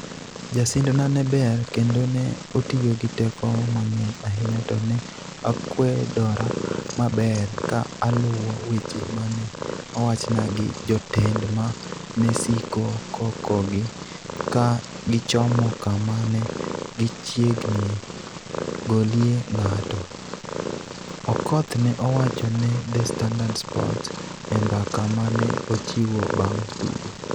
Jasindna ne ber kendo ne otiyo gi teko mang'eny ahinya to ne akwedora maber ka aluwo weche ma ne owachna gi jotenda ma ne siko kokogi ka gichomo kama ne gichiegni golie ng'ato, " Okoth ne owacho ne The Standard Sports e mbaka ma ne ochiwo bang' tugo.